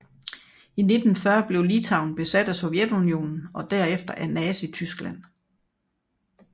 I 1940 blev Litauen besat af Sovjetunionen og derefter af Nazityskland